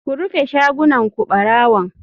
Ku rufe shagunan ku barawon.